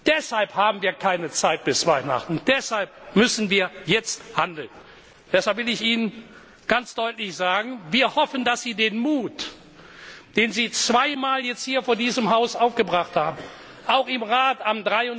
Deshalb haben wir keine Zeit bis Weihnachten, deshalb müssen wir jetzt handeln! Deshalb will ich Ihnen ganz deutlich sagen Wir hoffen, dass Sie den Mut, den Sie jetzt hier vor diesem Haus zwei Mal aufgebracht haben, auch